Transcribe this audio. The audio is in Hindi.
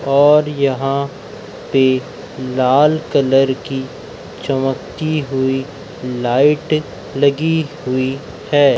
और यहां पे लाल कलर की चमकती हुई लाइट लगी हुई है।